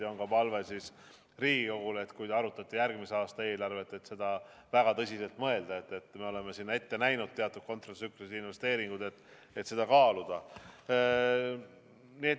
Ja on ka palve Riigikogule, et kui te arutate järgmise aasta eelarvet – me oleme sinna ette näinud teatud kontratsüklilisi investeeringuid –, siis mõelge väga tõsiselt ja kaaluge seda.